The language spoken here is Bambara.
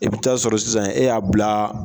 E bɛ taa sɔrɔ sisan e y'a bila.